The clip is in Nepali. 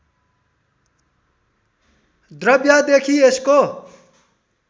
द्रव्यदेखि यसको